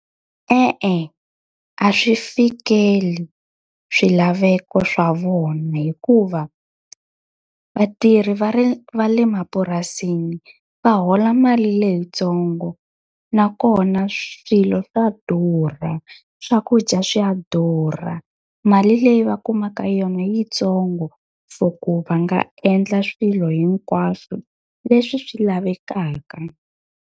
E-e a swi fikeli swilaveko swa vona hikuva, vatirhi va va le mapurasini va hola mali leyitsongo. Nakona swilo swa durha, swakudya swa durha, mali leyi va kumaka yona i yi ntsongo for ku va nga endla swilo hinkwaswo leswi swi lavekaka.